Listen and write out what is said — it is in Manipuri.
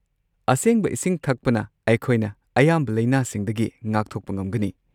ꯑꯁꯦꯡꯕ ꯏꯁꯤꯡ ꯊꯛꯄꯅ, ꯑꯩꯈꯣꯏꯅ ꯑꯌꯥꯝꯕ ꯂꯩꯅꯥꯁꯤꯡꯗꯒꯤ ꯉꯥꯛꯊꯣꯛꯄ ꯉꯝꯒꯅꯤ꯫